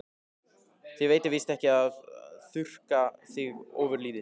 Þér veitir víst ekki af að þurrka þig ofurlítið.